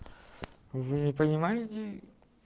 вы не понимаете